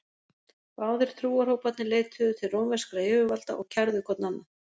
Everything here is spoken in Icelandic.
Báðir trúarhóparnir leituðu til rómverskra yfirvalda og kærðu hvor annan.